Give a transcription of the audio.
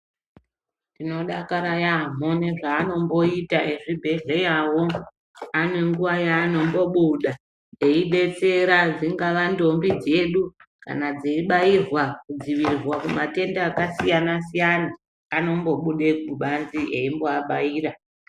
Tinodakara yaamho nezveanomboita ezvibhedhleya wo ane nguwa yaanombobuda eidetsera dzingava ndombi dzedu kana dzeibairwa kudzivirirwa kumatenda akasiyana siyana anombobude kubanze eimboabaira.